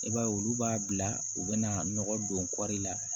I b'a ye olu b'a bila u bɛna nɔgɔ don kɔri la